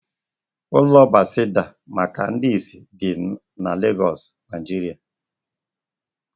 Ụlọ Bethesda maka ndị isi dị n'Legoosu, Naijiria